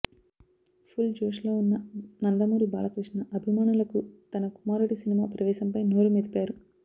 full జోష్ లో ఉన్న నందమూరి బాలకృష్ణ అభిమానులకు తన కుమారుడి సినిమా ప్రవేశంపై నోరు మెదిపారు